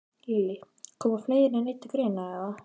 Lillý: Koma fleiri en einn til greina, eða?